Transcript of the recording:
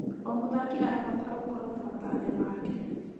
O mũthaki arabatara gũkorwo na matanya make.